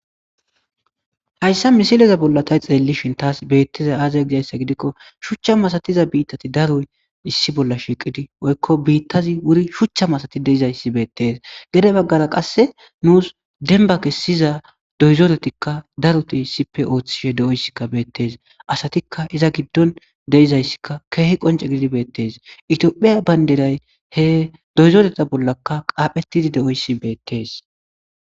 hayssa misileza bolla tay xeelli shintaas beettiza aazay gizayssa gidikko shuchcha masatiza biittati daruy issi bolla shiiqidi woykko biittazi wuri shuchcha masati deizayssi beettees gede baggara qasse nuus denba kessiza doyzoretikka daruti sipe ooththishe de7oyssikka beettees asatikka iza giddon deizayssikka keehi qonce gidibeettes itiophiya baynderay he doyzoreta bollaka qaaphetidi de7oyssi beettees